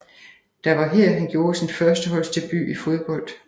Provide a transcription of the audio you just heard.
Der var her han gjorde sin førsteholdsdebut i fodbold